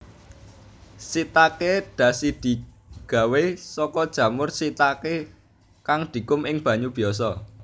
Shiitake dashidigawé saka jamur shiitake kang dikum ing banyu biyasa